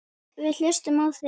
Við hlustum á þig.